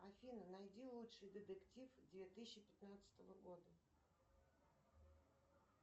афина найди лучший детектив две тысячи пятнадцатого года